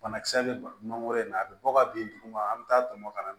Banakisɛ bɛ mangoro in na a bɛ bɔ ka bin duguma an bɛ taa tɔmɔ ka na